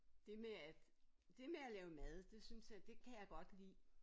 Det med at det med at lave mad det synes jeg at det kan jeg godt lide